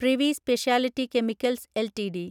privy speciality chemicals LTD